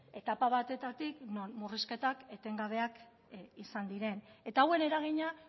etapa batetatik non murrizketak etengabeak izan diren eta hauen eragina